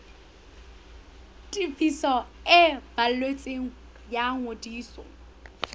tefiso e balletsweng ya ngodiso